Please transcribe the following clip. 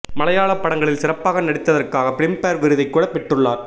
மலையாள படங்கலில் சிறப்பாக நடித்ததர்காக பிலிம் பேர் விருதை கூட பெற்றுள்ளார்